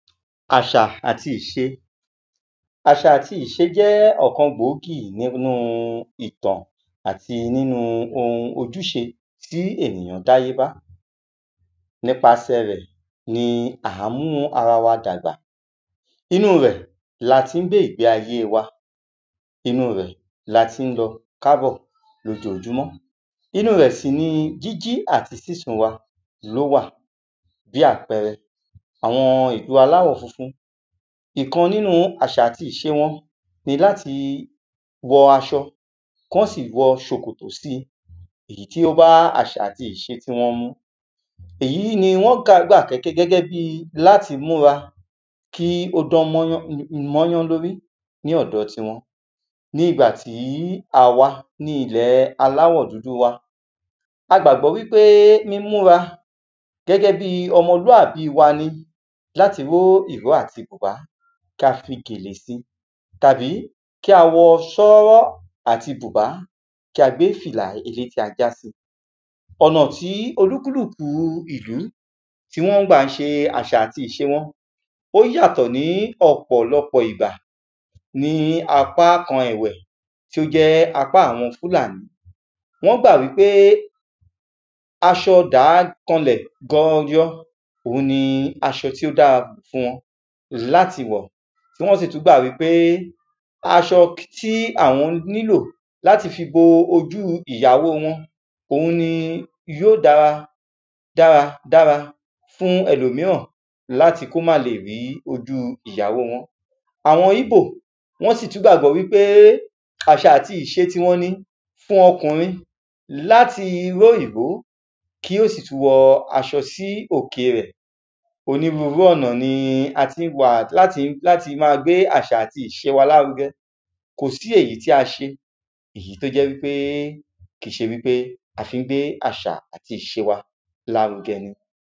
Àṣà àti ìṣe. Àṣà àti ìṣe jẹ́ ọ̀kan gbòógì nínu ìtàn, atí nínu oun ojúṣe tí ènìyàn dá yé bá, nípaṣẹ̀ rẹ̀ ní ǎ mú ara wa dàgbà. Inúu rẹ̀ la ti ń gbé ìgbé ayé wa. Inúu rẹ̀ la ti ń lọ, ká bọ̀ lójojúmọ́, inúu rẹ̀ sì ni jí jí àti sísùn wa, ló wà. Bí àpẹrẹ, àwọn ìlú aláwọ̀ funfun, ìkan nínu àṣà àti ìṣe wọn ní láti wọ aṣọ, kí wọ́n sì wọ ṣòkòtò si, èyí tí ó bá àṣà àti ìṣe wọn mu. Èyí ni wọ́n kà gẹ́gẹ́ bi láti múra, kí ó dán mọ́rán lórí ní ọ̀dọ ti ti wọn. Nígbà tí à wa ní ilẹ̀ aláwọ̀ dúdú wa, a gbàgbọ́ wípé mímú ra, gẹ́gẹ́ bi ọmọlúàbí wa ni láti ró ìró àti bùbá, ka fi gèlè si, tàbí, kì a wọ ṣọ́rọ́ àti bùbá, kí a gbé fìlà elétí ajá si. Ọ̀nà tí oníkálukù ìlú, tí wọ́n gbà ń ṣe àṣà àti ìṣe wọn, ó yàtọ̀ ní ọ̀pọ̀lọpọ̀ ìbà ní apá kan ẹ̀wẹ̀tí ó jẹ́ apá àwọn Fúlàní, wọ́n gbà wípé aṣọ dàá kan lẹ̀ gọrọ, òun ni asọ tí ó da fún wọn láti wọ̀. Tí wọ́n sì tún gbà wípé aṣọ tí àwọn ní lò láti fi bo ojú ìyàwò wọn. Oun ní yóò dára dára dára fún elòmíràn, láti kó má lè rí ojú ìyàwó wọn. Àwọn ígbò, wọ́n sì tún gbàgbọ́ wípé àṣà àti ìṣe ti won ni fún ọkùnrin láti ró ìró, kí ó sì tún wọ aṣọ sí òke ẹ̀. Onírurú ọ̀nà ni a ti gbà láti ma gbé àṣà àti ìṣe wa lárugẹ, kò sí èyí tí a se, èyí tó jẹ́ wípé kìí ṣe wípé a fi ń gbé àṣà àti ìṣe wa lárugẹ ni.